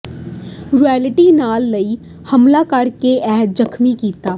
royalty ਲੈਣ ਲਈ ਹਮਲਾ ਕਰ ਕੇ ਇਕ ਜ਼ਖ਼ਮੀ ਕੀਤਾ